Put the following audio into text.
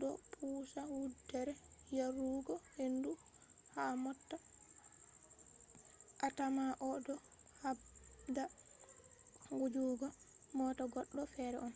do pusa wuddere yarugo hendu ha mota a tamma o do habda wujjugo mota goddo fere on